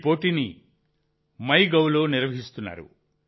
ఈ పోటీని MyGov లో నిర్వహిస్తున్నారు